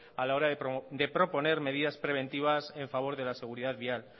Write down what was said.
a la hora de proponer medidas preventivas en favor de la seguridad vial